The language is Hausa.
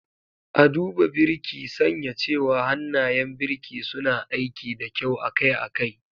A duba Birki, sanya cewa hannayen birki suna aiki da kyau akai-akai.